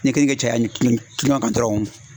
Ne kɛlen kɛ cɛya ye nin kileman kan dɔrɔnw